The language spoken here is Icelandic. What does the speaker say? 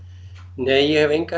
nei ég hef engar